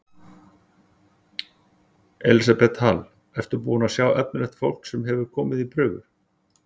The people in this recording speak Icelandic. Elísabet Hall: Ertu búinn að sjá efnilegt fólk sem hefur komið í prufur?